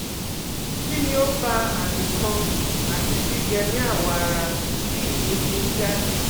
Kini o fa ami kan ati gbigbe ni awo ara ti idun fi n jade?